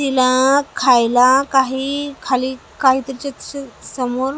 तिला खायला काही खाली काहीतरी चिप्स समोर --